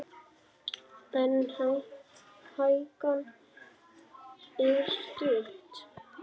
En hækan er stutt.